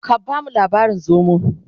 ka bamu labarin zomo!